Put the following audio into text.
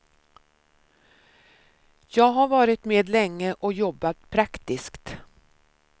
Jag har varit med länge och jobbat praktiskt.